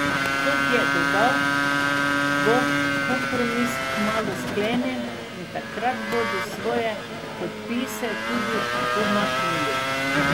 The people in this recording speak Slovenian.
Kot je dodal, bo kompromis kmalu sklenjen in takrat bodo svoje podpise tudi umaknili.